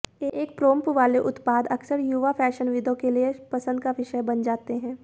एक पोम्प्न वाले उत्पाद अक्सर युवा फैशनविदों के लिए पसंद का विषय बन जाते हैं